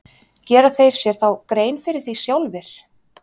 Gera þeir sér þá grein fyrir því sjálfir?